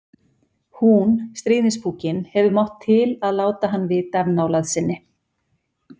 Hún, stríðnispúkinn, hefur mátt til að láta hann vita af nálægð sinni.